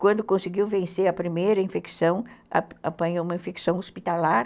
Quando conseguiu vencer a primeira infecção, apanhou uma infecção hospitalar.